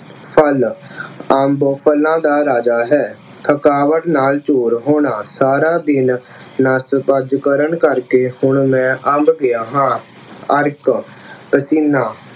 ਫਲ਼, ਅੰਬ ਫ਼ਲਾਂ ਦਾ ਰਾਜਾ ਹੈ। ਥਕਾਵਟ ਨਾਲ ਚੂਰ ਹੋਣਾ, ਸਾਰਾ ਦਿਨ ਨੱਠ-ਭੱਜ ਕਰਨ ਕਰਕੇ ਹੁਣ ਮੈਂ ਅੰਬ ਗਿਆ ਹਾਂ। ਅਰਕ, ਪਸੀਨਾ